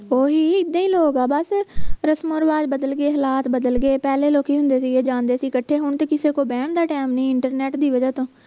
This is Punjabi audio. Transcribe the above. ਓਹੀ ਇੱਦਾਂ ਹੀ ਲੋਕ ਆ ਬਸ ਰਸਮੋਂ ਰਿਵਾਜ ਬਦਲ ਗਏ ਹਾਲਾਤ ਬਦਲ ਗਏ ਪਹਿਲੇ ਲੋਕੀ ਹੁੰਦੇ ਸੀ ਗੇ ਜਾਂਦੇ ਸੀ ਕੱਠੇ ਹੁਣ ਤੇ ਕਿਸੇ ਕੋਲ ਬਹਿਣ ਦਾ ਟੈਮ ਨਹੀਂ internet ਦੀ ਵਜ੍ਹਾ ਤੋਂ